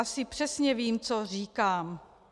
Asi přesně vím, co říkám.